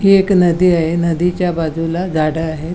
हि एक नदी आहे नदीच्या बाजुला गाड्या आहे.